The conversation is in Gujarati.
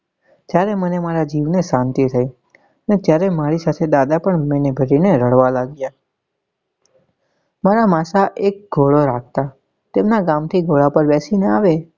ત્યારે મને મારા જીવ ને સાંતી થઇ ને જ્યારે મારી સાથે દાદા પણ મને ભરી ને રડવા લાગ્યા મારા માસ એક ઘોડો રાખતા તેમના ગામે થી ઘોડા પર બેસી ને આવે.